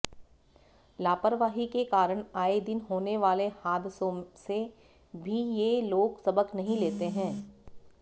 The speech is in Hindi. लापरवाही के कारण आएदिन होने वाले हादसों से भी ये लोग सबक नहीं लेते हैं